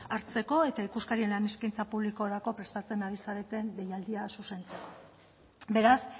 hartzeko eta ikuskarien lan eskaintza publikorako prestatzen ari zareten deialdia zuzentzeko beraz